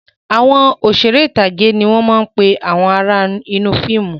Àwọn Òṣeré ìtàgé ni wọn máa ń pe àwọn ará inú fíìmù